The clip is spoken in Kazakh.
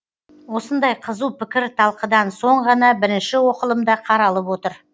осындай қызу пікірталқыдан соң ғана бірінші оқылымда қаралып отыр